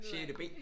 Sjette B!